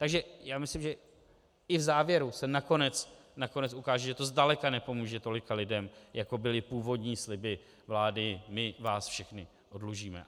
Takže já myslím, že i v závěru se nakonec ukáže, že to zdaleka nepomůže tolika lidem, jako byly původní sliby vlády - my vás všechny oddlužíme.